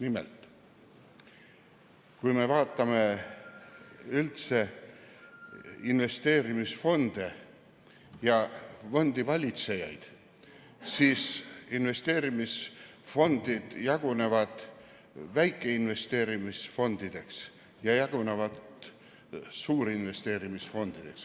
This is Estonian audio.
Nimelt, kui me vaatame investeerimisfonde ja fondivalitsejaid, siis võime öelda, et investeerimisfondid jagunevad väikesteks investeerimisfondideks ja suurteks investeerimisfondideks.